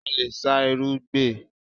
A lè sá irú gbẹ l